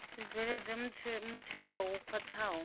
zwi bveledze mutheo wo khwathaho